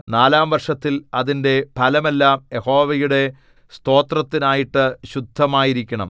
നാലാം വർഷത്തിൽ അതിന്റെ ഫലമെല്ലാം യഹോവയുടെ സ്തോത്രത്തിന്നായിട്ടു ശുദ്ധമായിരിക്കണം